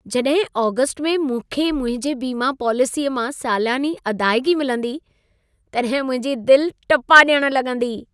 जॾहिं आगस्त में मूंखे मुंहिंजे बिमा पॉलिसीअ मां सालियानी अदाइगी मिलंदी, तॾहिं मुंहिंजी दिलि टुपा डि॒यणु लॻंदी।